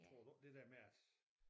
Tror du ikke det der med at